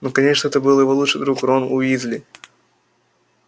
ну конечно это был его лучший друг рон уизли